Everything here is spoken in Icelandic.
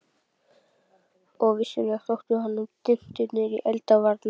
Og vissulega þóttu honum dyntirnir í eldvarna